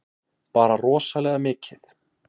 Bara rosalega mikið.